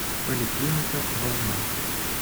поликлиника волна